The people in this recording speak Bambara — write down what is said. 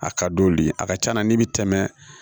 A ka d'olu ye a ka ca na n'i bɛ tɛmɛ